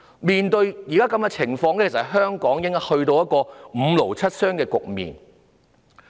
面對現時的情況，香港應該已"五勞七傷"。